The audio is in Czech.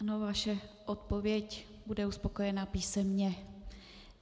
Ano, vaše odpověď bude uspokojena písemně.